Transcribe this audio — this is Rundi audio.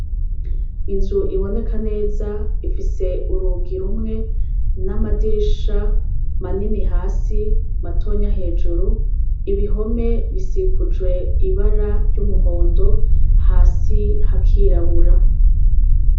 Inzu iboneka neza ifise urugi rumwe n'amadirisha manini hasi matonya hejuru ibihome bisikujwe ibara ry'umuhondo hasi hakirabura.